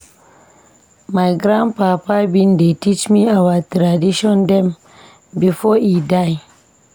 My grandpapa bin dey teach me our tradition dem before e die.